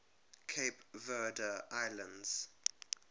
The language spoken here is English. cape verde islands